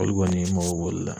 Olu kɔni , n mako b'olu la.